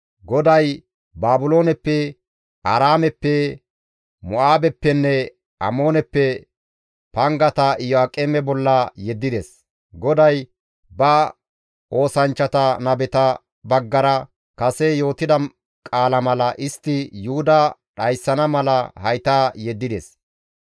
GODAY Baabilooneppe, Aaraameppe, Mo7aabeppenne Amooneppe pangata Iyo7aaqeme bolla yeddides. GODAY ba oosanchchata nabeta baggara kase yootida qaala mala istti Yuhuda dhayssana mala hayta yeddides.